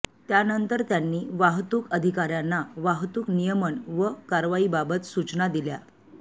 त्यानंतर त्यांनी वाहतुक अधिकाऱ्यांना वाहतूक नियमन व कारवाईबाबत सुचना दिल्या